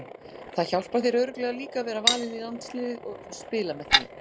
Það hjálpar þér örugglega líka að vera valinn í landsliðið og spila með því?